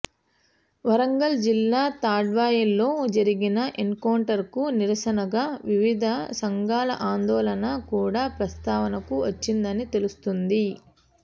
వరంగల్ జిల్లా తాడ్వాయిలో జరిగిన ఎన్కౌంటర్కు నిరసనగా వివిధ సంఘాల ఆందోళన కూడా ప్రస్తావనకు వచ్చిందని తెలుస్తోంది